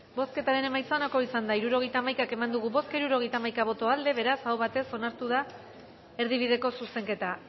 bozketaren emaitza onako izan da hirurogeita hamaika eman dugu bozka hirurogeita hamaika boto aldekoa beraz aho batez onartu da erdibideko zuzenketa